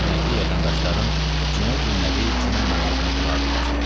Rəhmətli vətəndaşlarım cümə günləri cümə namazına durardılar.